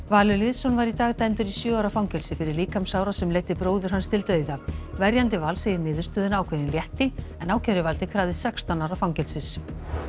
Valur Lýðsson var í dag dæmdur í sjö ára fangelsi fyrir líkamsárás sem leiddi bróður hans til dauða verjandi Vals segir niðurstöðuna ákveðinn létti en ákæruvaldið krafðist sextán ára fangelsis